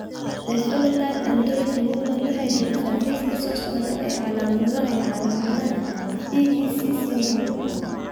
The Phenotype Ontology Human waxay bixisaa liiska soo socda ee calaamadaha iyo calaamadaha EEC syndrome.